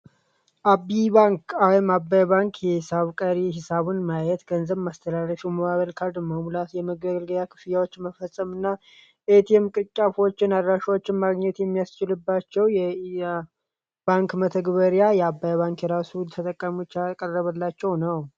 አባይ ባንክ አባይ ባንክ ቀሪ ሂሳብ ለማየት የሞባይል ካርድ ለመሙላት የመገልገያ ክፍያዎችን ለመፈፀም እና የኤቲኤም ቅርንጫፎችን አድራሻዎችን ለማግኘት የሚያስችልባቸው የባንክ መተግበሪያ የአባይ ባንክ የራሱ መተግበሪያ ያላቸው ነው።